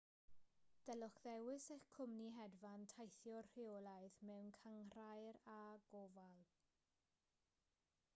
dylech ddewis eich cwmni hedfan teithiwr rheolaidd mewn cynghrair â gofal